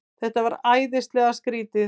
Þetta var æðislega skrýtið.